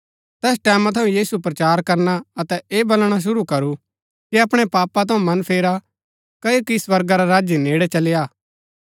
तैस टैमां थऊँ यीशु प्रचार करना अतै ऐह बलणा शुरू करू कि अपणै पापा थऊँ मन फेरा क्ओकि स्वर्गा रा राज्य नेड़ै चली आ